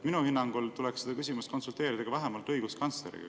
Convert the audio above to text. Minu hinnangul tuleks selles küsimuses konsulteerida ka vähemalt õiguskantsleriga.